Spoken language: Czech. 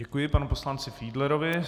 Děkuji panu poslanci Fiedlerovi.